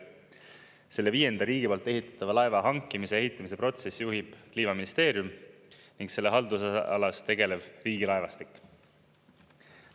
Selle viienda riigi poolt ehitatava laeva hankimise ja ehitamise protsessi juhib Kliimaministeerium ning selle haldusalas tegelev Riigilaevastik.